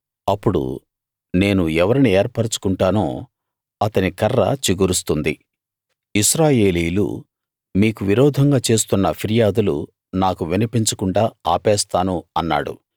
అప్పుడు నేను ఎవరిని ఏర్పరచుకుంటానో అతని కర్ర చిగురిస్తుంది ఇశ్రాయేలీయులు మీకు విరోధంగా చేస్తున్న ఫిర్యాదులు నాకు వినిపించకుండా ఆపేస్తాను అన్నాడు